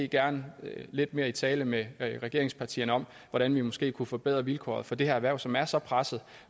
gerne lidt mere i tale med regeringspartierne om hvordan vi måske kunne forbedre vilkårene for det her erhverv som er så presset